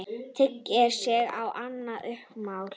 Teygir sig í annað umslag.